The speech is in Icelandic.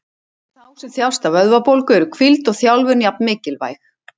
Fyrir þá sem þjást af vöðvabólgu eru hvíld og þjálfun jafn mikilvæg.